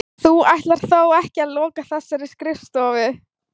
Þú ætlar þó ekki að loka þessari skrifstofu?